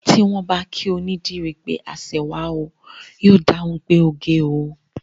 Tí wọ́n bá kí onídìrí pé aṣẹwà o, yóò dáhùn pé oge o